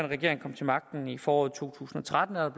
regering kom til magten i foråret to tusind og tretten er